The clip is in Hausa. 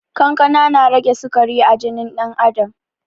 Kankana na rage sikari a jinin ɗan adam